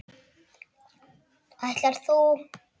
Ætlar þú.